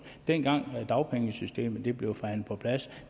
dengang dagpengesystemet blev forhandlet på plads